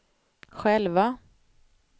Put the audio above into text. själva